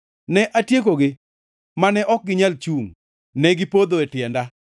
Ne atiekogi, mane ok ginyal chungʼ; negipodho e tienda.